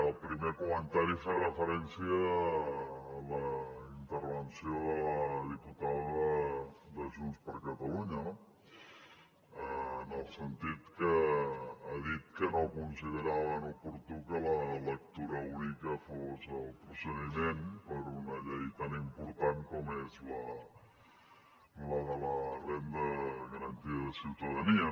al primer comentari fer referència a la intervenció de la diputada de junts per catalunya no en el sentit que ha dit que no consideraven oportú que la lectura única fos el procediment per a una llei tan important com és la de la renda garantida de ciutadania